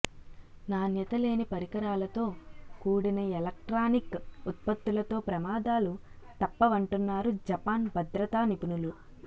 నాణ్యతలేని పరికరాలతో కూడిన ఎలక్ట్రానిక్ ఉత్పత్తులతో ప్రమాదాలు తప్పవంటున్నారు జపాన్ భద్రతా నిపుణులు